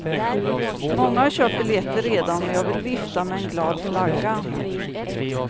Många har köpt biljetter redan och jag vill vifta med en glad flagga.